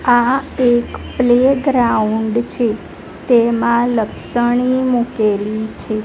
આ એક પ્લેગ્રાઉન્ડ છે તેમાં લપસણી મૂકેલી છે.